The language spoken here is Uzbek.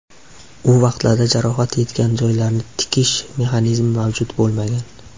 U vaqtlarda jarohat yetgan joylarni tikish mexanizmi mavjud bo‘lmagan.